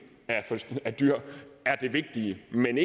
af dyr er det vigtige men